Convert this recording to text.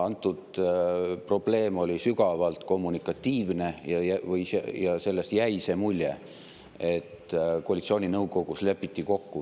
Antud juhul oli probleem sügavalt kommunikatiivne, sest jäi mulje, et lepiti kokku koalitsiooninõukogus.